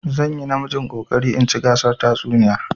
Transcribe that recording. Zan yi namijin ƙoƙarin in ci gasar tatsuniya.